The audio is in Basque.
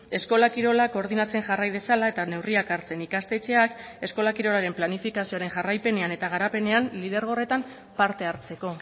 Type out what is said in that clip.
eskola kirolak koordinatzen jarrai dezala eta neurriak hartzen ikastetxeak eskola kirolaren planifikazioaren jarraipenean eta garapenean lidergo horretan parte hartzeko